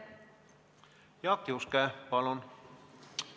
Jaak Juske, palun!